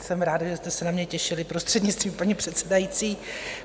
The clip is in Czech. Jsem ráda, že jste se na mě těšili, prostřednictvím paní předsedající.